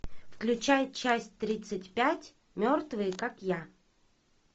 включай часть тридцать пять мертвые как я